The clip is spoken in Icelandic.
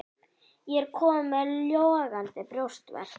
Ég er kominn með logandi brjóstverk.